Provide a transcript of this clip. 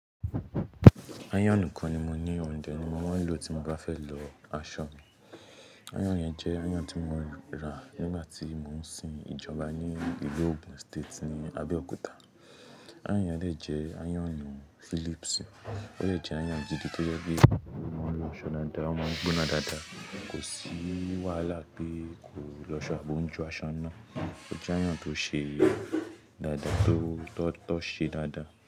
Ayonu kan ni mo ní ò n de ni mo máa ń lò tí mo bá fẹ́ lọ aṣọ mi. Iton yẹn jẹ́ iron tí mo ra nígbà tí mò ń sin ìjọba ní ìlú Ogun State ni Abeokuta. Iron yẹn lè jẹ́ ayonu Philips. Ó de jẹ iron gidi tó jẹ́ pé o maa n lọ aṣọ daadáa o maa n gbóná dáadáa. Kò sí wàhálà pé kò lọ aṣọ àbi o ń jo aṣọ n na Ó jẹ́ iron tó ṣe dáadáa tó tọ̀ṣẹ́ dáadáa.